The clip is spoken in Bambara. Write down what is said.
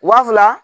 Wa fila